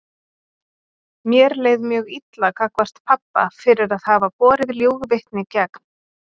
Mér leið mjög illa gagnvart pabba fyrir að hafa borið ljúgvitni gegn